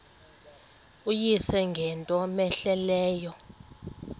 uyise ngento cmehleleyo